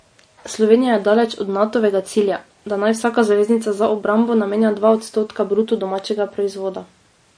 Slovenija je daleč od Natovega cilja, da naj vsaka zaveznica za obrambo namenja dva odstotka bruto domačega proizvoda.